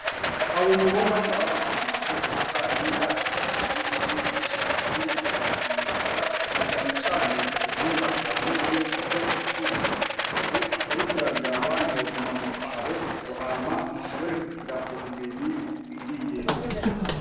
Abomubona nabavuye mubihugu bibanyi baje kw'ishuri kwigisha ivyerekeye imyuga nacanecane ubuhinga bwanone kuko isi igeze kure. Uriko urabiraba ntiwoguma mubitabo ngo hama ushobore kugira ubumenyi bukwiriye.